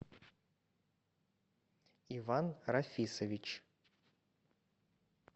иван рафисович